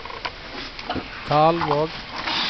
Kalvåg